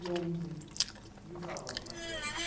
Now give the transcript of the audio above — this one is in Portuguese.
De onze E os avós paternos